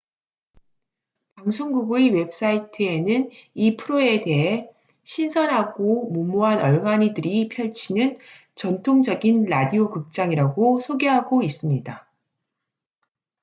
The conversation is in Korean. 방송국의 웹사이트에는 이 프로에 대해 신선하고 무모한 얼간이들이 펼치는 전통적인 라디오 극장'이라고 소개하고 있습니다